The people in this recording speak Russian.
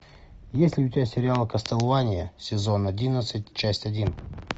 есть ли у тебя сериал кастлвания сезон одиннадцать часть один